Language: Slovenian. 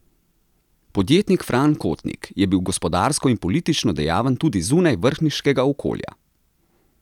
Podjetnik Fran Kotnik je bil gospodarsko in politično dejaven tudi zunaj vrhniškega okolja.